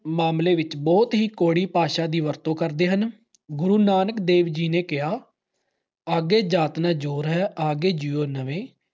ਮਾਮਲੇ ਵਿੱਚ ਬਹੁਤ ਹੀ ਕੌੜੀ ਭਾਸ਼ਾ ਦੀ ਵਰਤੋਂ ਕਰਦੇ ਹਨ। ਗੁਰੂ ਨਾਨਕ ਦੇਵ ਜੀ ਨੇ ਕਿਹਾ ਅੱਗੇ ਜਾਤ ਨਾ ਜੋਰ ਹੈ ਅਗੇ ਜੀਉ ਨਵੇਂ